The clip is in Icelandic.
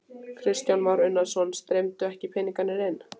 Kristján Már Unnarsson: Streymdu ekki peningarnir inn?